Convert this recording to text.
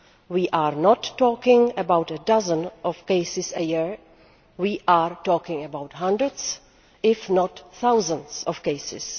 We are not talking about a dozen cases a year we are talking about hundreds, if not thousands of cases!